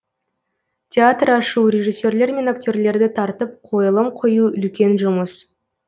театр ашу режиссерлер мен актерлерді тартып қойылым қою үлкен жұмыс